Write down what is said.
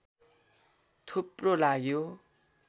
थुप्रो लाग्यो